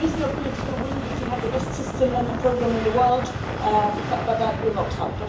If there is no political will we can have the best system and programme in the world but that will not help.